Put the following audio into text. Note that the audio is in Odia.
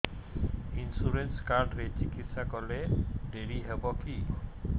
ଇନ୍ସୁରାନ୍ସ କାର୍ଡ ରେ ଚିକିତ୍ସା କଲେ ଡେରି ହବକି